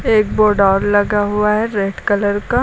एक बोर्ड और लगा हुआ है रेड कलर का।